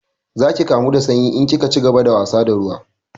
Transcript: Za ki kamu da sanyi in kika cigaba da wasa da ruwa